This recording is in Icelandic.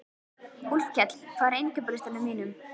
Úlfkell, hvað er á innkaupalistanum mínum?